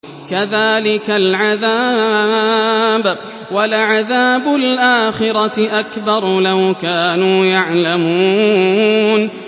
كَذَٰلِكَ الْعَذَابُ ۖ وَلَعَذَابُ الْآخِرَةِ أَكْبَرُ ۚ لَوْ كَانُوا يَعْلَمُونَ